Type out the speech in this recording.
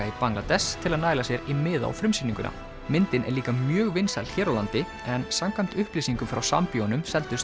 í Bangladess til að næla sér í miða á frumsýninguna myndin er líka mjög vinsæl hér á landi en samkvæmt upplýsingum frá Sambíóunum seldust